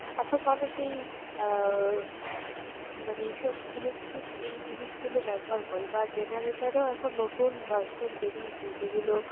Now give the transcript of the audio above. এখন মানুষ এই আহ মানে এইসব electric এই জিনিসগুলো ব্যবহার করে বা generator ও এখন নতুন version বেরিয়েছে যেগুলো